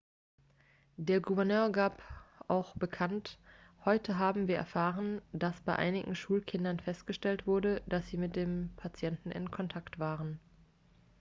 der gouverneur gab auch bekannt heute haben wir erfahren dass bei einigen schulkindern festgestellt wurde dass sie mit dem patienten in kontakt waren